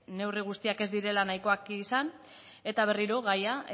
neurri guztiak ez direla nahikoak izan eta berriro gaia